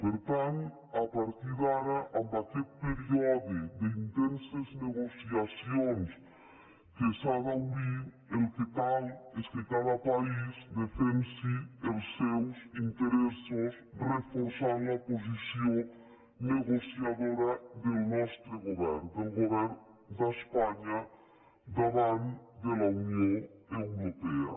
per tant a partir d’ara amb aquest període d’intenses negociacions que s’ha d’obrir el que cal és que cada país defensi els seus interessos reforçant la posició negociadora del nostre govern del govern d’espanya davant de la unió europea